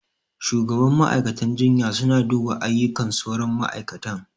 Shugaban ma'aikatan jinya suna duba aiyukan sauran ma'aikatan